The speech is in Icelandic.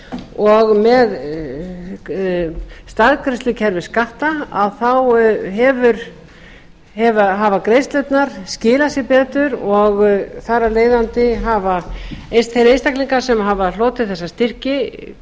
og með staðgreiðslukerfi skatta hafa greiðslurnar skilað sér betur og þar af leiðandi hafa þeir einstaklingar sem hafa hlotið þessa styrki